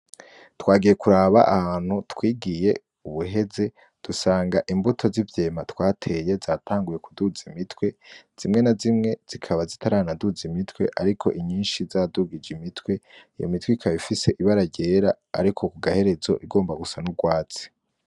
twagiye kuraba ahantu twigiye ubuheze dusanga imbuto z' ivyema twateye zatanguye kuduza imitwe zimwe na zimwe zikaba zitaraduza imitwe ariko inyishi zadugije imitwe iyo mitwe ikaba ifise ibara ryera ariko kugaherezo igomba gusa n' urwatsi.